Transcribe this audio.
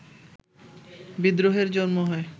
বিদ্রোহের জন্ম হয়